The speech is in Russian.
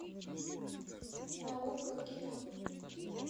на окко кино